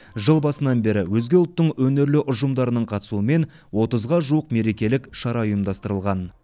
жыл басынан бері өзге ұлттың өнерлі ұжымдарының қатысуымен отызға жуық мерекелік шара ұйымдастырылған